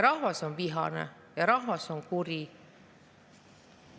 Rahvas on vihane ja rahvas on kuri.